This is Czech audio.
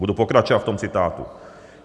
Budu pokračovat v tom citátu: